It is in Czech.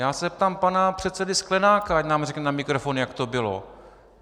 Já se zeptám pana předsedy Sklenáka, ať nám řekne na mikrofon, jak to bylo.